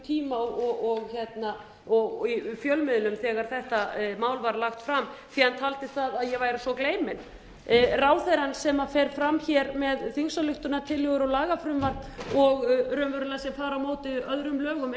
tíma og í fjölmiðlum þegar þetta mál var lagt fram því hann taldi það að ég væri svo gleymin ráðherrann sem fer fram hér með þingsályktunartillögur og lagafrumvarp og raunverulega sem fara á móti öðrum lögum